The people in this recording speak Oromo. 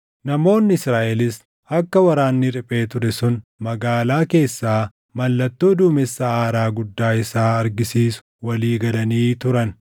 Namoonni Israaʼelis akka waraanni riphee ture sun magaalaa keessaa mallattoo duumessa aaraa guddaa isaa argisiisu walii galanii turan;